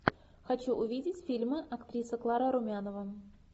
хочу увидеть фильмы актриса клара румянова